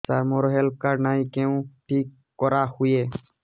ସାର ମୋର health card ନାହିଁ କେଉଁଠି କରା ହୁଏ